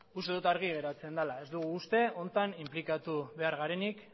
uste dut argi geratzen dela ez dugu uste honetan inplikatu behar garenik